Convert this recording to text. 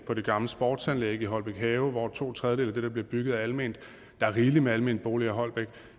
på det gamle sportsanlæg i holbæk have hvor to tredjedele af det der bliver bygget er alment der er rigeligt med almene boliger i holbæk